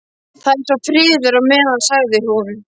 Það er þá friður á meðan, sagði hún.